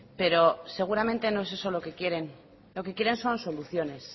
pero seguramente no es eso lo que quieren lo que quieren son soluciones